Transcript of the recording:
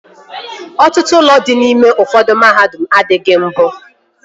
Ọtụtụ ụlọ dị n'ime ụfọdụ mahadum adịghị mbụ